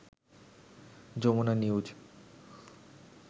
Jamuna news